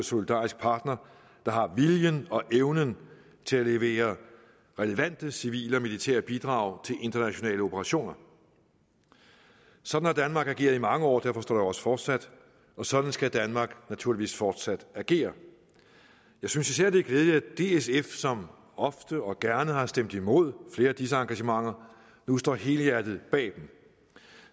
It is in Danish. solidarisk partner der har viljen og evnen til at levere relevante civile og militære bidrag til internationale operationer sådan har danmark ageret i mange år og derfor står der også fortsat og sådan skal danmark naturligvis fortsat agere jeg synes især at det er glædeligt at det sf som ofte og gerne har stemt imod flere af disse engagementer nu står helhjertet bag dem